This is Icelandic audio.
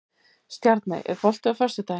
Stjarney, er bolti á föstudaginn?